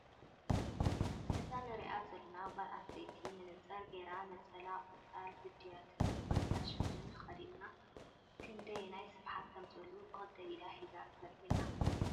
እዛ እንሪኣ ዘለና ጓል ኣነስተይቲ መነፀር ጌራ፣ ነፀላ ቆፃል ህድያትን ቆፃል ሽፈንን ተከዲና ክደይናይ ስፍሓት ከም ዘለዎ ብክልተ ኢዳ ሒዛ ተርኢ ኣላ።